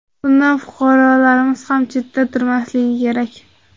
Bundan fuqarolarimiz ham chetda turmasligi kerak.